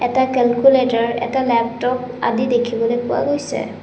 এটা কেলকুলেটৰ এটা লেপটপ আদি দেখিবলে পোৱা গৈছে।